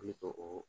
Ne ka o